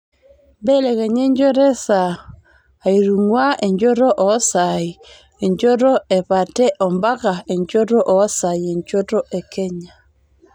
mbelekenya enchoto esaa aitung'uaa enchoto oosaai enchoto epate ompaka enchoto oosaai enchoto ekenya